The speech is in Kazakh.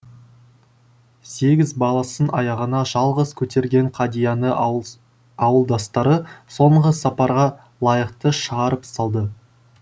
сегіз баласын аяғына жалғыз көтерген қадияны ауылдастары соңғы сапарға лайықты шығарып салды